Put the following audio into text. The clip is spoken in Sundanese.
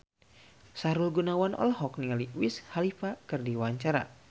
Sahrul Gunawan olohok ningali Wiz Khalifa keur diwawancara